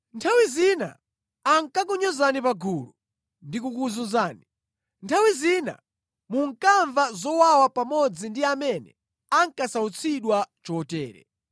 Nthawi zina ankakunyozani pagulu ndi kukuzunzani. Nthawi zina munkamva zowawa pamodzi ndi amene ankasautsidwa chotere.